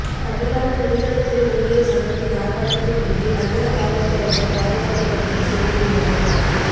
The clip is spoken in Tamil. தமிழ்நாடு நெடுஞ்சாலைத் துறை ஊழியர் சங்கத்தின் ஆர்ப்பாட்டத்தை முன்னிட்டு நகர காவல்துறையினர் பாதுகாப்பு பணிகளை செய்திருந்தனர்